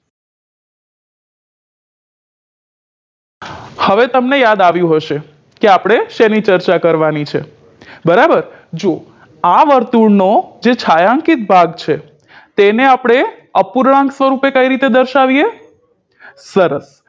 હવે તમને યાદ આવ્યું હશે કે આપણે શેની ચર્ચા કરવાની છે બરાબર જો આ વર્તુળનો જે છાંયાંકીત ભાગ છે તેને આપડે અપૂર્ણાંક સ્વરુપે કઈ રીતે દર્શાવીએ સરસ